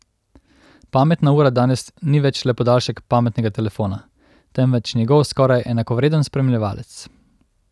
Pametna ura danes ni več le podaljšek pametnega telefona, temveč njegov skoraj enakovreden spremljevalec.